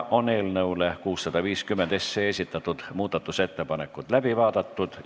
Eelnõu 650 kohta esitatud muudatusettepanekud on läbi vaadatud.